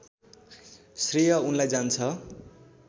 श्रेय उनलाई जान्छ